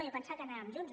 jo pensava que anàvem junts